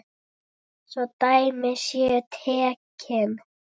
Svo dæmi séu tekin.